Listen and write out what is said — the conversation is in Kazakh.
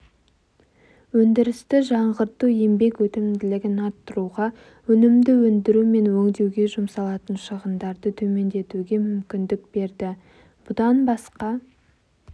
өндірісті жаңғырту еңбек өнімділігін арттыруға өнімді өндіру мен өңдеуге жұмсалатын шығындарды төмендетуге мүмкіндік берді бұдан басқа